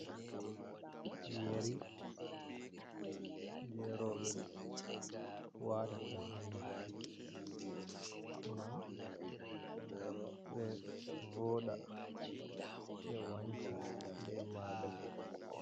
Yeri je roɓɓe watata ha noppi gam ɓe voda ɓe wanca be majum.